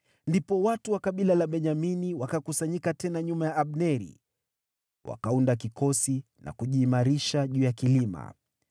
Ndipo watu wa kabila la Benyamini wakakusanyika tena nyuma ya Abneri. Wakaunda kikosi na kujiimarisha juu ya kilima.